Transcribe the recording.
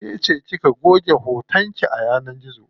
Kece kika goge hoton ki a yanar gizo.